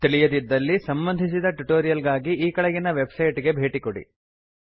ತಿಳಿಯದಿದ್ದಲ್ಲಿ ಸಂಬಂಧಿಸಿದ ಟ್ಯುಟೋರಿಯಲ್ ಗಾಗಿ ಈ ಕೆಳಗಿನ ವೆಬ್ಸೈಟ್ ಗೆ ಭೇಟಿ ಕೊಡಿ